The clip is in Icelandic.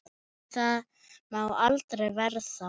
Nei, það má aldrei verða.